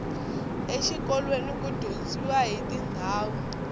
exikolweni ku dyondziwa hiti ndhawu